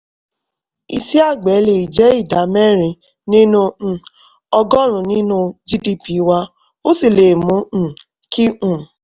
iṣẹ́ àgbẹ̀ lè jẹ́ ìdá mẹ́rin nínú um ọgọ́rùn-ún nínú gdp wa ó sì lè mú um kí um